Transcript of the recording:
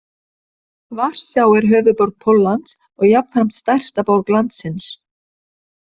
Varsjá er höfuðborg Póllands og jafnframt stærsta borg landsins.